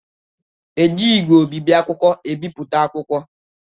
Eji ígwè obibi akwụkwọ ebipụta akwụkwọ